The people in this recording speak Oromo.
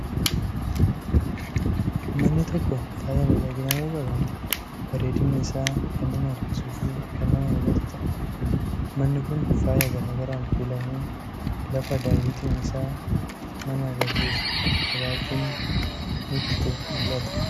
Manni tokko faaya miidhaginaa yoo qabaate, bareedinni isaa kan nama harkisuu fi kan nama hawwatu ta'a! Manni kun faaya garaa garaan kuulamee, lafa daawwitiin isaa nama agarsiisu qabaachuudhaan nutti mul'atudha.